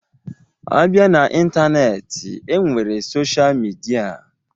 Abia na Ịntaneetị, e nwere soshal midia.